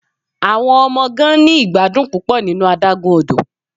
Awọn ọmọ gan ni igbadun pupọ ninu adagun odo